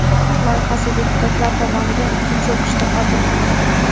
Qonun loyihasi deputatlar tomonidan ikkinchi o‘qishda qabul qilindi.